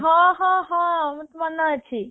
ହଁ ହଁ ହଁ ମତେ ମନ ଅଛି